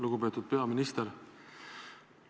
Lugupeetud peaminister!